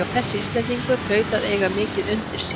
Þessi Íslendingur hlaut að eiga mikið undir sér!